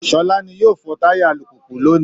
Sọlá ni yóò fọ táyà alùpùpù lónìí